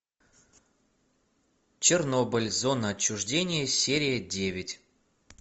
чернобыль зона отчуждения серия девять